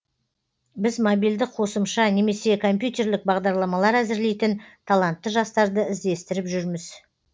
біз мобильді қосымша немесе компьтерлік бағдарламалар әзірлейтін талантты жастарды іздестіріп жүрміз